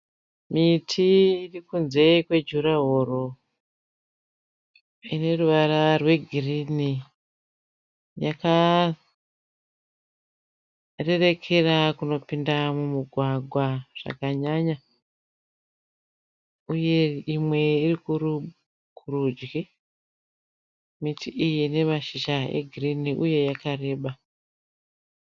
Miti irikunze kwejuraworo ine ruvara rwegirini. Yakarerekera kunopinda mumugwagwa zvakanyanya uye imwe iri kurudyi. Miti iyi ine mashizha egirini uye yakareba.